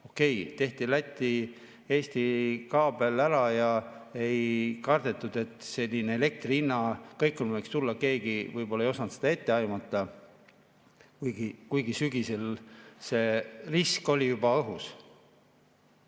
Okei, tehti Läti-Eesti kaabel ära ja ei kardetud, et selline elektri hinna kõikumine võiks tulla, keegi võib-olla ei osanud seda ette aimata, kuigi sügisel oli risk juba õhus.